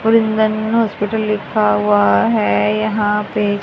और हॉस्पिटल लिखा हुआ है यहां पे--